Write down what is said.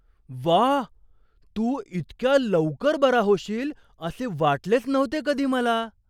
व्वा! तू इतक्या लवकर बरा होशील असे वाटलेच नव्हते कधी मला.